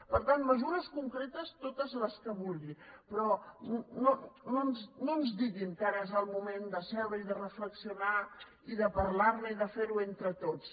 per tant mesures concretes totes les que vulgui però no ens diguin que ara és el moment d’asseure’s i de reflexionar i de parlar ne i de fer ho entre tots